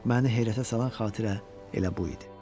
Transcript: Məni heyrətə salan xatirə elə bu idi.